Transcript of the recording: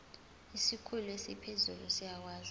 isikhulu esiphezulu siyakwazi